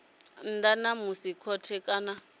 nnḓa ha musi khothe kana